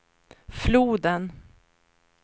floden